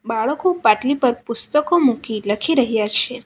બાળકો પાટલી પર પુસ્તકો મૂકી લખી રહ્યા છે.